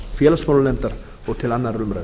félagsmálanefndar og til annarrar umræðu